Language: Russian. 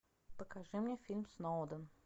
покажи мне фильм сноуден